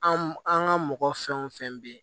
An an ka mɔgɔ fɛn wo fɛn be yen